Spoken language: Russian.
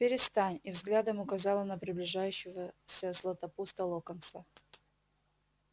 перестань и взглядом указала на приближающегося златопуста локонса